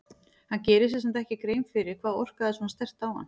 Hann gerir sér samt ekki grein fyrir hvað orkaði svona sterkt á hann.